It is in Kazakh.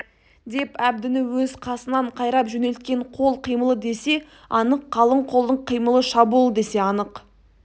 деп әбдіні өз қасынан қайрап жөнелткен қол қимылы десе анық қалың қолдың қимылы шабуыл десе анық